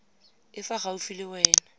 e fa gaufi le wena